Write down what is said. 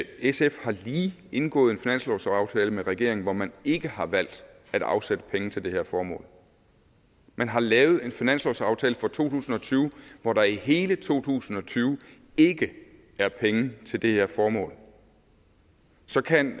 sf har lige indgået en finanslovsaftale med regeringen hvor man ikke har valgt at afsætte penge til det her formål man har lavet en finanslovsaftale for to tusind og tyve hvor der i hele to tusind og tyve ikke er penge til det her formål så kan